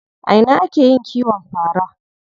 A ina ake yin kiwon fara?